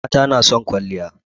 Mata na son kwalliya